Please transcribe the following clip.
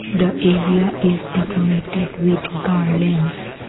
The area is decorated with garlands.